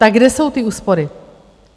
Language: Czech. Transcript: Tak kde jsou ty úspory?